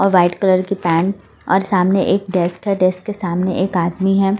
और white colour की pant और सामने एक डेस्क है डेस्क के सामने एक आदमी है।